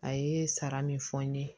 A ye sara min fɔ n ye